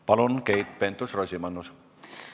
Palun, Keit Pentus-Rosimannus!